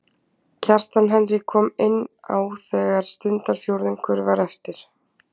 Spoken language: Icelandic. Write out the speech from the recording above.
Kjartan Henry kom inn á þegar stundarfjórðungur var eftir.